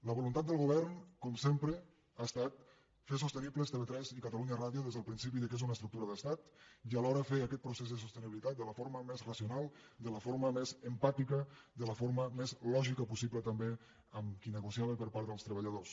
la voluntat del govern com sempre ha estat fer sostenibles tv3 i catalunya ràdio des del principi que són una estructura d’estat i alhora fer aquest procés de sostenibilitat de la forma més racional de la forma més empàtica de la forma més lògica possible també amb qui negociava per part dels treballadors